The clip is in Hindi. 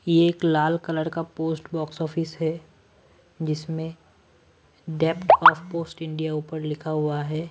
ये एक लाल कलर का पोस्ट बॉक्स ऑफिस है जिसमें डेप्थ ऑफ पोस्ट इंडिया ऊपर लिखा हुआ है।